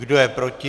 Kdo je proti?